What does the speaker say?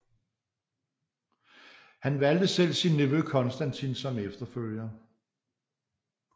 Han valgte selv sin nevø Konstantin som efterfølger